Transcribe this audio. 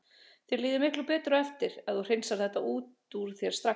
Þér líður miklu betur eftir á ef þú hreinsar þetta út úr þér strax.